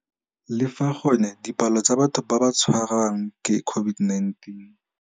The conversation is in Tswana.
Le fa gone dipalo tsa batho ba ba tshwarwang ke COVID-19.